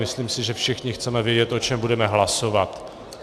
Myslím si, že všichni chceme vědět, o čem budeme hlasovat.